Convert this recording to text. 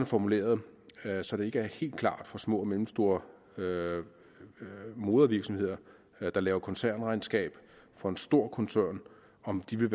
formuleret så det ikke er helt klart for små og mellemstore modervirksomheder der laver koncernregnskab for en stor koncern om de vil